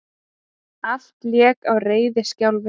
Allt lék á reiðiskjálfi.